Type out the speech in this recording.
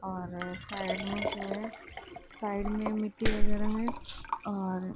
और साइड में जो है साइड में मिट्टी वगैरा है और